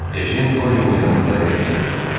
Ejen Qorionun yanında əyləşdirib soruşdu: